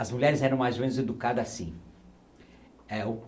As mulheres eram mais ou menos educadas assim. É o